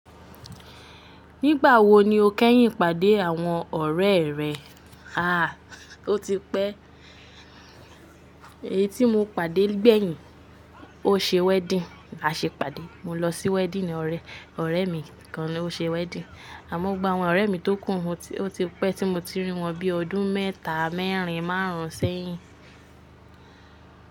Nígbà wo ni o kẹ́yìn pàdé àwọn ọ̀rẹ́ rẹ? Àá, ó ti pẹ́. Èyí tí mo pàdé gbẹ̀yìn, ó ṣe wedding, àṣe pàdé. Mo lọ sí wedding ọ̀rẹ́, ọ̀rẹ́ mi kan ló ṣe wedding. Àmọ́ gbogbo àwọn ọ̀rẹ́ mi tó kùn ún, ó ti pẹ́ tí mo ti rí wọn bíi ọdún mẹ́ta, mẹ́rin, márùn-ún sẹ́yìn.